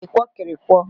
ịkwọkịrịkwọ